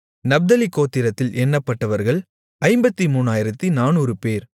நப்தலி கோத்திரத்தில் எண்ணப்பட்டவர்கள் 53400 பேர்